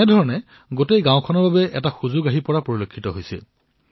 ইয়াৰ জৰিয়তে সমগ্ৰ গাঁৱে এই সুবিধা পাইছে